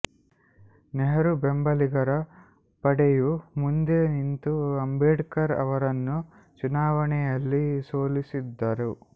ನೆಹರು ಬೆಂಬಲಿಗರ ಪಡೆಯು ಮುಂದೆ ನಿಂತು ಅಂಬೇಡ್ಕರ್ ಅವರನ್ನು ಚುನಾವಣೆಯಲ್ಲಿ ಸೋಲಿಸಿದ್ದರು